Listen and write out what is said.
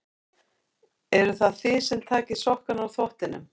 Eruð það þið sem takið sokkana úr þvottinum?